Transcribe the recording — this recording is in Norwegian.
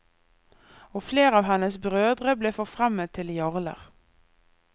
Og flere av hennes brødre ble forfremmet til jarler.